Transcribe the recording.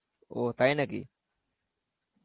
ও, তাই নাকি?